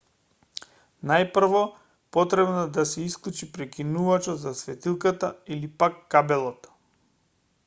најпрво потребно е да се исклучи прекинувачот за светилката или пак кабелот